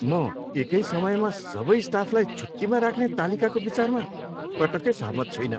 म एकै समयमा सबै स्टाफलाई छुट्टीमा राख्ने तालिकाको विचारमा पटक्कै सहमत छुइनँ।